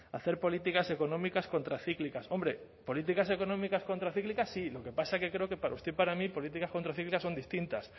hacer políticas económicas contracíclicas hombre políticas económicas contracíclicas sí lo que pasa que creo que para usted y para mí políticas contracíclicas son distintas